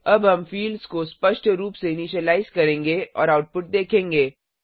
अब हम फिल्ड्स को स्पष्ट रूप से इनीशिलाइज करेंगे और आउटपुट देखेंगे